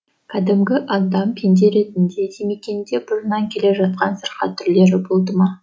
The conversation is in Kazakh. кәдімгі адам пенде ретінде димекеңде бұрыннан келе жатқан сырқат түрлері болды ма